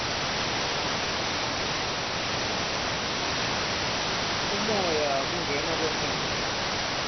umoya kungena kwemoya